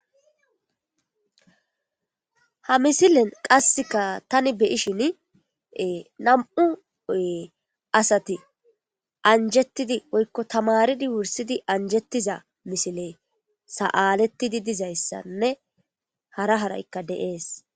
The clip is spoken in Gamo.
Ha missilen taani be'shin nam'u assati anjetidi woyko tamari wurssudi anjjetiza missiley saletidi dizaysanne hara harayka de7es.